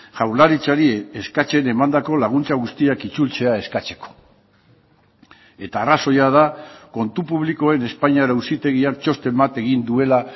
jaurlaritzari eskatzen emandako laguntza guztiak itzultzea eskatzeko eta arrazoia da kontu publikoen espainiar auzitegiak txosten bat egin duela